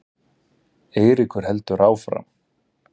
Eiríkur heldur áfram.